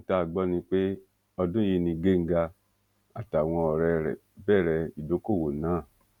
ohun tá a gbọ ni pé ọdún yìí ni genga àtàwọn ọrẹ rẹ bẹrẹ ìdókoòwò náà